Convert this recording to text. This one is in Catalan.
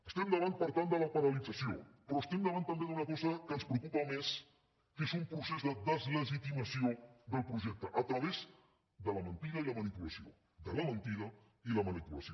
estem davant per tant de la paralització però estem davant també d’una cosa que ens preocupa més que és un procés de deslegitimació del projecte a través de la mentida i la manipulació de la mentida i la manipulació